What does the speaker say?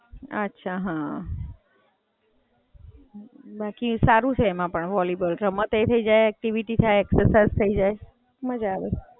અચ્છા, હાં. બાકી સારું છે એમાં પણ વોલીબોલ, રમતેય થય જાય, એક્ટિવિટી થાય, એક્સરસાઇજ થય જાય, મજા આવે.